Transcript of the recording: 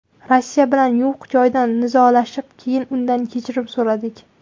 Rossiya bilan yo‘q joydan nizolashib, keyin undan kechirim so‘radik.